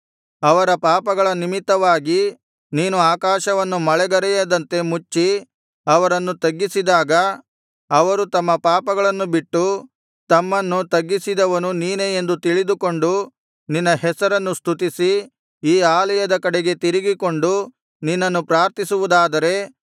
ಅವರ ಪಾಪಗಳ ನಿಮಿತ್ತವಾಗಿ ನೀನು ಆಕಾಶವನ್ನು ಮಳೆಗರೆಯದಂತೆ ಮುಚ್ಚಿ ಅವರನ್ನು ತಗ್ಗಿಸಿದಾಗ ಅವರು ತಮ್ಮ ಪಾಪಗಳನ್ನು ಬಿಟ್ಟು ತಮ್ಮನ್ನು ತಗ್ಗಿಸಿದವನು ನೀನೇ ಎಂದು ತಿಳಿದುಕೊಂಡು ನಿನ್ನ ಹೆಸರನ್ನು ಸ್ತುತಿಸಿ ಈ ಆಲಯದ ಕಡೆಗೆ ತಿರುಗಿಕೊಂಡು ನಿನ್ನನ್ನು ಪ್ರಾರ್ಥಿಸುವುದಾದರೆ